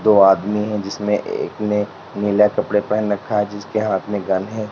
दो आदमी हैं जिसमें एक ने नीले कपड़े पहन रखा है जिसके हाथ में गन है।